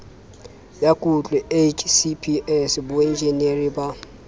ya kutlo hcps boenjinere ba